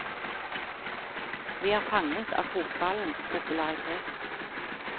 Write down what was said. Vi er fanget av fotballens popularitet.